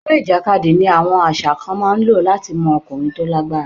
Eré ìjàkadì ni àwọn àṣà kan máa ń lò láti mọ ọkùnrin tó lágbára.